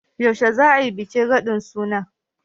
Yaushe za a yi bikin radin sunan?